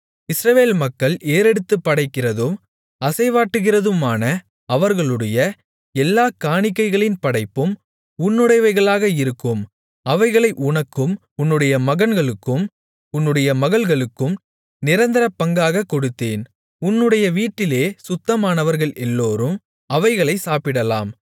இஸ்ரவேல் மக்கள் ஏறெடுத்துப்படைக்கிறதும் அசைவாட்டுகிறதுமான அவர்களுடைய எல்லாக் காணிக்கைகளின் படைப்பும் உன்னுடையவைகளாக இருக்கும் அவைகளை உனக்கும் உன்னுடைய மகன்களுக்கும் உன்னுடைய மகள்களுக்கும் நிரந்தர பங்காகக் கொடுத்தேன் உன்னுடைய வீட்டிலே சுத்தமானவர்கள் எல்லோரும் அவைகளைச் சாப்பிடலாம்